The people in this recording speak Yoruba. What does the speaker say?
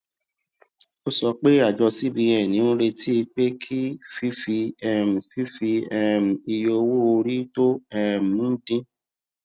ó sọ pé àjọ cbn ń retí pé kí fífi um fífi um iye owó orí tó um ń dín